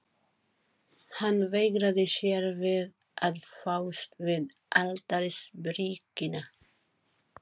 Og hann mun kveða upp gagnstæðan úrskurð.